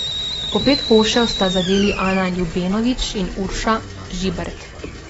Po pet košev sta zadeli Ana Ljubenović in Urša Žibert.